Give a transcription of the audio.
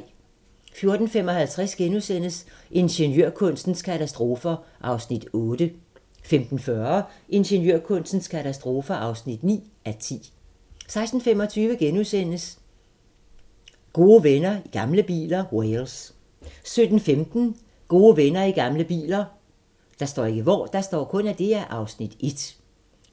14:55: Ingeniørkunstens katastrofer (8:10)* 15:40: Ingeniørkunstens katastrofer (9:10) 16:25: Gode venner i gamle biler - Wales * 17:15: Gode venner i gamle biler (Afs. 1)